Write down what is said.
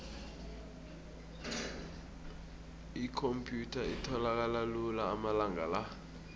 ikhomphyutha itholakala lula amalanga la